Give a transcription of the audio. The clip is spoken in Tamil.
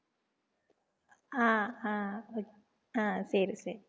ஆஹ் ஆஹ் ஆஹ் சரி சரி